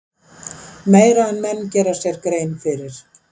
Meira en menn gera sér grein fyrir.